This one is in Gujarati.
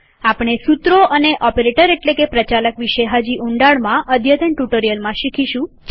આપણે સુત્રો અને ઓપરેટર એટલેકે કે પ્રચાલક વિશે હજી ઊંડાણમાં અદ્યતન ટ્યુટોરીયલમાં શીખીશું